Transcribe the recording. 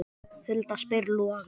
Hulda spyr Loga